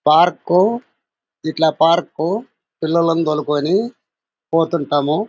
Park ఇట్లా park పిల్లలను తోల్కొని పోతుంటాము.